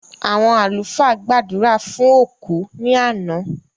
Àwọn àlúfà gbàdúrà fún òkú ní àná